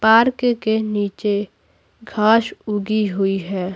Park के नीचे घास उगी हुई है।